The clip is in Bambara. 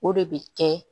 O de bɛ kɛ